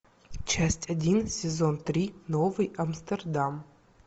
часть один сезон три новый амстердам